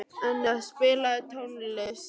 Enea, spilaðu tónlist.